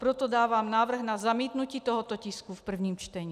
Proto dávám návrh na zamítnutí tohoto tisku v prvním čtení.